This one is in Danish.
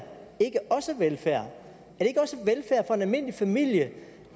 det ikke også velfærd for en almindelig familie